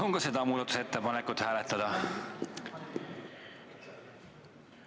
Palun ka seda muudatusettepanekut hääletada!